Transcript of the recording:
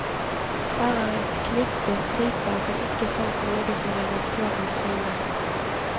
Her er et knippe striper som ikke fant nåde for redaktørens øyne.